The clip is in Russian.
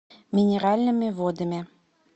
минеральными водами